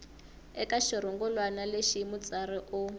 eka xirungulwana lexi mutsari u